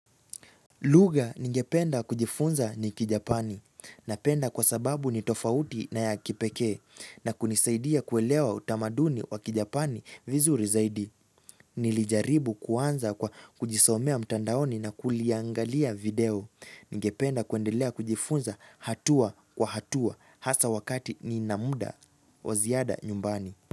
Luga ningependa kujifunza ni kijapani. Napenda kwa sababu ni tofauti na ya kipekee na kunisaidia kuelewa utamaduni wa kijapani vizuri zaidi. Nilijaribu kuanza kwa kujisomea mtandaoni na kuliangalia video. Ningependa kuendelea kujifunza hatua kwa hatua hasa wakati nina muda wa ziada nyumbani.